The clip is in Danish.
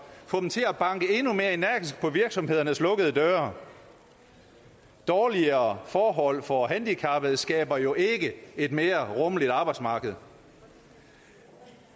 til at banke endnu mere energisk på virksomhedernes lukkede døre dårligere forhold for handicappede skaber jo ikke et mere rummeligt arbejdsmarked